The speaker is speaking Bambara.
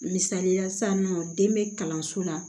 Misalila sisan nɔ den bɛ kalanso la